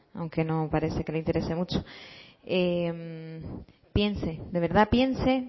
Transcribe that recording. aunque no parece que le interese mucho piense de verdad piense